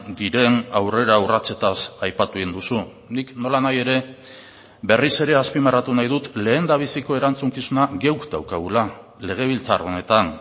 diren aurreraurratsetaz aipatu egin duzu nik nolanahi ere berriz ere azpimarratu nahi dut lehendabiziko erantzukizuna guk daukagula legebiltzar honetan